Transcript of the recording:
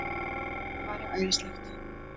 Það væri æðislegt!